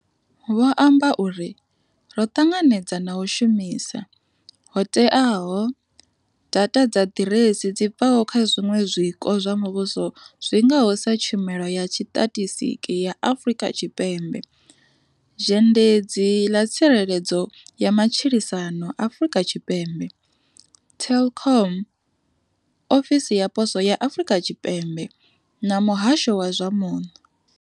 Vho amba uri, ro ṱanganedza na u shumisa, ho teaho, datha dza ḓiresi dzi bvaho kha zwiṅwe zwiko zwa muvhuso zwi ngaho sa Tshumelo ya Tshitatistiki ya Afrika Tshipembe, Zhendedzi ḽa Tsireledzo ya Matshilisano Afrika Tshipembe, Telkom, Ofisi ya Poswo ya Afrika Tshipembe na Muhasho wa zwa Muno.